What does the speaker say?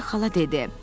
Poli xala dedi: